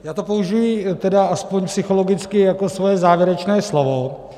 Já to použiji tedy aspoň psychologicky jako svoje závěrečné slovo.